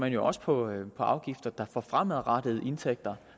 jo også på afgifter der for fremadrettede indtægter